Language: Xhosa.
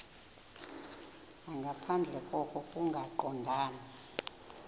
nangaphandle koko kungaqondani